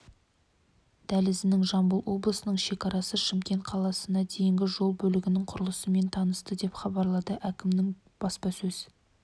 дәлізінің жамбыл облысының шекарасы шымкент қаласына дейінгі жол бөлігінің құрылысымен танысты деп хабарлады әкімінің баспасөз